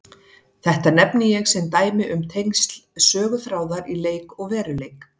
Þetta nefni ég sem dæmi um tengsl söguþráðar í leik og veruleik.